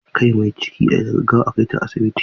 Kai mai ciki da gaggawa a kaita asibiti.